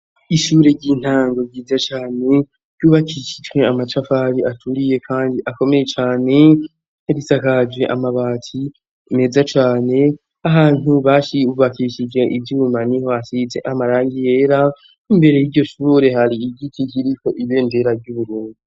Ishure ry'intango ryiza cane, ry'ubakishijwe amatafari aturiye kandi akomeye cane, irisakaje amabati meza cane ,ahantu bashi hubakishije ivyuma niho hasise amarangi yera, imbere y'iryo shure hari igiki kiriho ibendera ry'Uburundi.